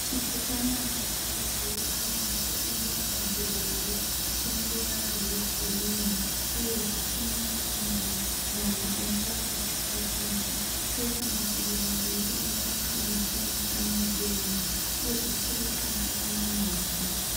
Chipukanana chinozivikanwa nekuti mbuya muderere. Chine ruvara rwegirini uyezve china makumbo mana anenge akatsika pasi choita makumbo maviri anenge akasimukira mudenga uyezve chiri pasi pana mavhu.